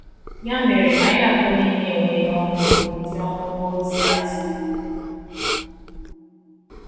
Ya mere, anyị atọ niile enweela ọṅụ n'ụdị ọrụ ozi a zuru oge.